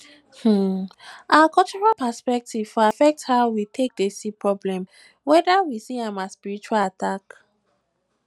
um our cultural perspective for affect how we take dey see problem weda we um see am as spiritual attack